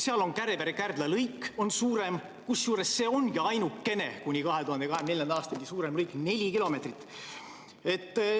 Seal on suurematest lõikudest Kärevere–Kärdla, kusjuures see on kuni 2024. aastani ainukene suurem lõik, neli kilomeetrit.